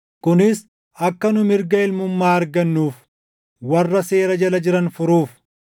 kunis akka nu mirga ilmummaa argannuuf warra seera jala jiran furuuf.